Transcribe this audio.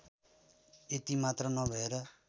यति मात्र नभएर